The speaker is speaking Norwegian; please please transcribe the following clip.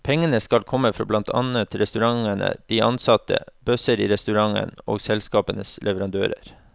Pengene skal komme fra blant annet restaurantene, de ansatte, bøsser i restaurantene og selskapets leverandører.